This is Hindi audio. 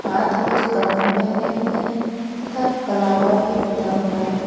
हाथ में कंगन पहने हुए हैं तथा कलावा भी बंधा हुआ है।